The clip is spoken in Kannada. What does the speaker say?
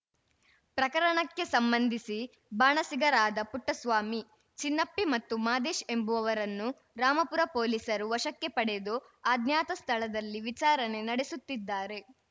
ಪ್ರಕರಣಕ್ಕೆ ಸಂಬಂಧಿಸಿ ಬಾಣಸಿಗರಾದ ಪುಟ್ಟಸ್ವಾಮಿ ಚಿನ್ನಪ್ಪಿ ಮತ್ತು ಮಾದೇಶ್‌ ಎಂಬುವರನ್ನು ರಾಮಾಪುರ ಪೊಲೀಸರು ವಶಕ್ಕೆ ಪಡೆದು ಅಜ್ಞಾತ ಸ್ಧಳದಲ್ಲಿ ವಿಚಾರಣೆ ನಡೆಸುತ್ತಿದ್ದಾರೆ